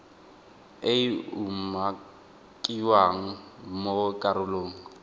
e e umakiwang mo karolong